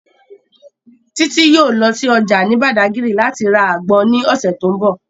Titi yóò lọ sí ọjà ní Badagry láti ra àgbọn ní ọ̀sẹ̀ tó ń bọ̀.